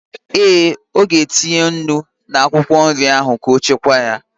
Ee, ọ ga-etinye nnu n'akwụkwọ nri ahụ ka ọ chekwaa ya